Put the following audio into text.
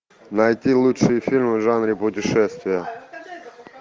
найти лучшие фильмы в жанре путешествия